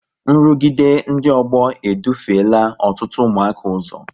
nrụgide ndị ọgbọ e dufela ọtụtụ ụmụaka ụzọ